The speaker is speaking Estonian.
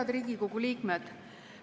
Head Riigikogu liikmed!